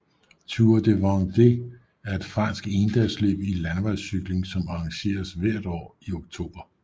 Tour de Vendée er et fransk endagsløb i landevejscykling som arrangeres hvert år i oktober